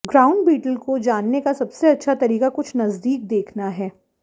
ground beetle को जानने का सबसे अच्छा तरीका कुछ नज़दीक देखना है